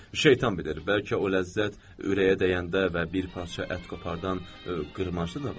Şeytan bilir, bəlkə o ləzzət ürəyə dəyəndə və bir parça ət qoparan qırmacı da var.